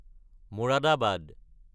Moradabad